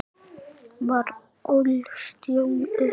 Þar ólst Jón upp.